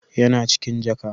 Yana cikin jaka